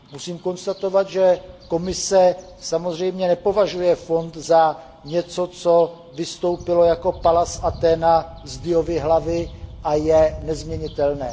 Musím konstatovat, že Komise samozřejmě nepovažuje fond za něco, co vystoupilo jako Pallas Athéna z Diovy hlavy a je nezměnitelné.